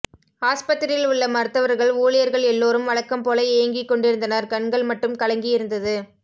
ஆஸ்பத்திரியில் உள்ள மருத்துவர்கள் ஊழியர்கள் எல்லோரும் வழக்கம் போல இயங்கிக் கொண்டிருந்தனர் கண்கள் மட்டும் கலங்கியிருந்தது